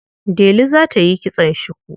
Delu za ta yi kitson shuku.